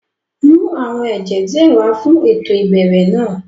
Mu àwọn ẹjẹ diẹ wà fun éto ìbẹrẹ náa!